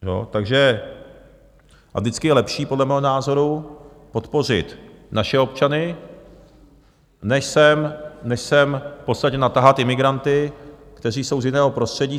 A vždycky je lepší podle mého názoru podpořit naše občany než sem v podstatě natahat imigranty, kteří jsou z jiného prostředí.